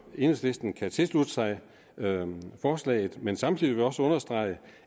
enhedslisten kan tilslutte sig forslaget men samtidig vil vi også understrege